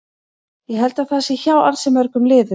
Ég held að það sé hjá ansi mörgum liðum.